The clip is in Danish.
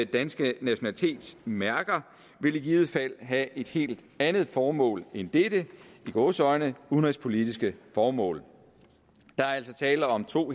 danske nationalitetsmærker ville i givet fald have et helt andet formål end dette i gåseøjne udenrigspolitiske formål der er altså tale om to